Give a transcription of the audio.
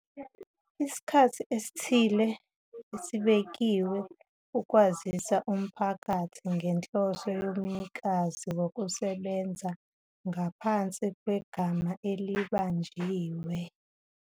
isikhathi esithile esibekiwe ukwazisa umphakathi ngenhloso yomnikazi wokusebenza ngaphansi kwegama elibanjiwe.